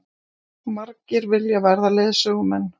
Margir vilja verða leiðsögumenn